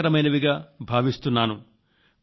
కానీ నా కందిన వార్తలు ఎంతో సంతోషకరమైనవిగా భావిస్తున్నాను